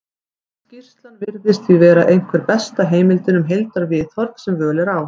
skýrslan virðist því vera einhver besta heimildin um heildarviðhorf sem völ er á